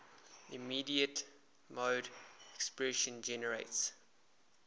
immediate mode expression generates